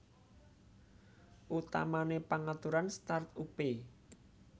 Utamané pangaturan start upé